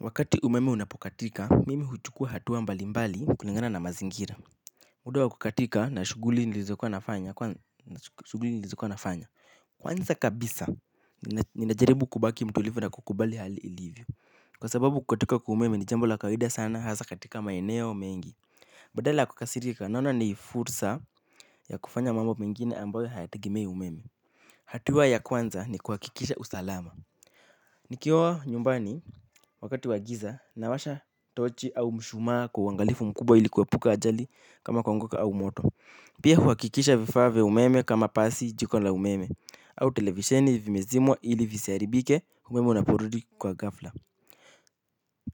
Wakati umeme unapokatika mimi huchukua hatua mbalimbali kulingana na mazingira muda wa kukatika na shughuli nilizokuwa nafanya kwanza shuguli nilizokuwa nafanya kwanza kabisa ninajaribu kubaki mtulivu na kukubali hali ilivyo. Kwa sababu kukatika kwa umeme ni jambo la kawaida sana hasa katika maeneo mengi. Badala ya kukasirika naona ni fursa ya kufanya mambo mengine ambayo hayategemei umeme. Hatua ya kwanza ni kuhakikisha usalama. Nikiwa nyumbani wakati wa giza nawasha tochi au mshumaa kwa uangalifu mkubwa ili kuepuka ajali kama kuanguka au moto. Pia huhakikisha vifaa vya umeme kama pasi jiko na umeme au televisheni vimezimwa ili visiharibike umeme unaporudi kwa ghafla.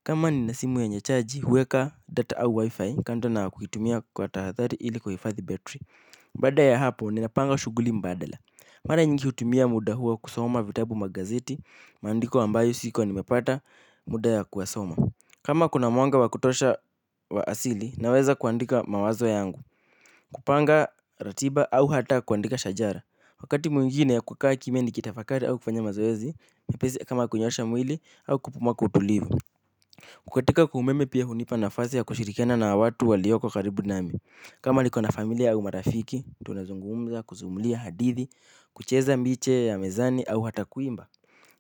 Kama nina simu yenye chaji huweka data au wifi kando na kuitumia kwa tahadhari ili ku hifadhi battery baada ya hapo ninapanga shughuli mbadala. Mara nyingi hutumia muda huo kusoma vitabu magazeti, maandiko ambayo sikuwa nimepata muda ya kuyasoma. Kama kuna mwanga wa kutosha wa asili, naweza kuandika mawazo yangu, kupanga ratiba au hata kuandika shajara. Wakati mwingine ya kukaa kimya nikitafakari au kufanya mazoezi, mpizi kama kunyosha mwili au kupumua kwa utulivu. Kukatika kwa umeme pia hunipa nafasi ya kushirikiana na watu walioko karibu nami. Kama nikona familia au marafiki, tunazungumza, kusimulia hadithi, kucheza mbiche ya mezani au hata kuimba.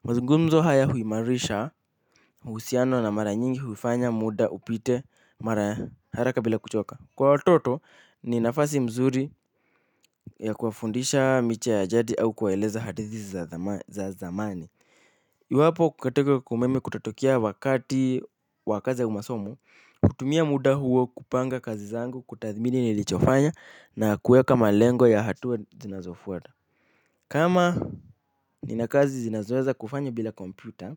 Mazungumzo haya huimarisha, uhusiano na mara nyingi huifanya muda upite mara haraka bila kuchoka. Kwa watoto, ni nafasi mzuri ya kuwafundisha miche ya jadi au kuwaeleza hadithi za zamani. Iwapo kukatika kwa umeme kutatokea wakati wa kazi ya umasomo, kutumia muda huo kupanga kazi zangu, kutathmini nilichofanya na kuweka malengo ya hatua zinazofuata. Kama nina kazi zinazoweza kufanywa bila kompyuta,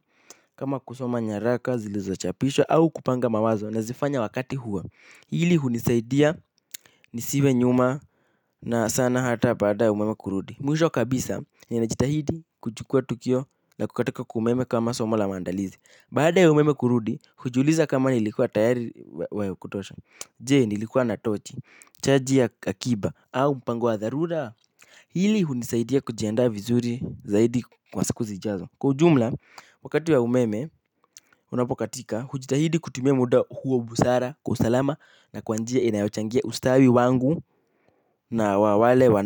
kama kusoma nyaraka zilizochapishwa au kupanga mawazo na zifanya wakati huo. Hili hunisaidia nisiwe nyuma na sana hata baada ya umeme kurudi. Mwisho kabisa ninajitahidi kuchukua tukio na kukatika kwa umeme kama somo la maandalizi Baada ya umeme kurudi, hujiuliza kama nilikuwa tayari wa kutosha Jee nilikuwa na tochi, chaji ya hakiba, au mpango wa dharura Hili hunisaidia kujiandaa vizuri zaidi kwa siku zijazo Kwa ujumla, wakati wa umeme, unapokatika, hujitahidi kutimia muda huo busara kwa usalama Na kwa njia inayochangia ustawi wangu na wale wana.